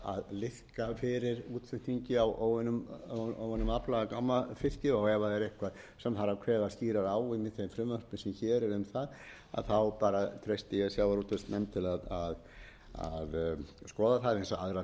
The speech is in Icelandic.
fyrir útflutningi á óunnum afla eða gámafiski ef það er eitthvað sem þarf að kveða skýrar á um í þeim frumvörpum sem hér er um það bara treysti ég sjávarútvegsnefnd til að skoða það eins og aðra þætti